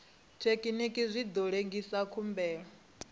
thekinini zwi ḓo lengisa khumbelo